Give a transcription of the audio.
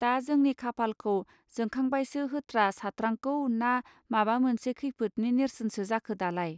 दा जोंनि खाफालखौ जोंखांबायसो होत्रा सात्रांगौ ना माबा मोनसे खैफोदनि नेर्सोनसो जाखो दालाय